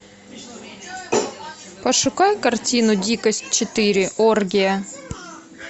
пошукай картину дикость четыре оргия